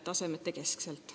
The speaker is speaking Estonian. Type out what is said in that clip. Näiteks puuduvad infokanalid.